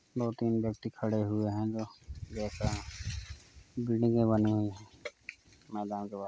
दो तीन व्यक्ति खड़े हुए हैं और बिल्डिंगे बनी हुई हैं मैदान के पास।